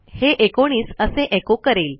हे एकोणीस असे एचो करेल